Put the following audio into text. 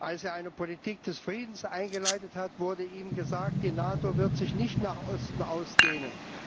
Als er eine Politik des Friedens eingeleitet hat, wurde ihm gesagt Die NATO wird sich nicht nach Osten ausdehnen.